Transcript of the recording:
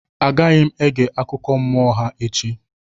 Agaghị m ege akụkọ mmụọ ha echi.